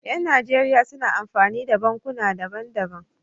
Yan nigeria suna amfani da bankuna daban daban